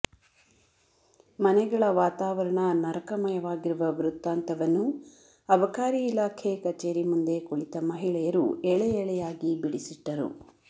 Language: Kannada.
ಮನೆಗಳ ವಾತಾವರಣ ನರಕಮಯವಾಗಿರುವ ವೃತ್ತಾಂತವನ್ನು ಅಬಕಾರಿ ಇಲಾಖೆ ಕಚೇರಿ ಮುಂದೆ ಕುಳಿತ ಮಹಿಳೆಯರು ಎಳೆಎಳೆಯಾಗಿ ಬಿಡಿಸಿಟ್ಟರು